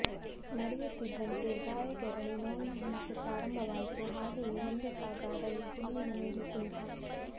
ನಡೆಯುತ್ತಿದ್ದಂತೆ ಗಾಯಕೆರಳಿ ನೋವಿನ ಹಿಂಸೆ ಪ್ರಾರಂಬವಾಯಿತು ಹಾಗೆಯೆ ಒಂದು ಜಾಗ ಅರಸಿ ಹುಲ್ಲಿನ ಮೇಲೆ ಕುಳಿತ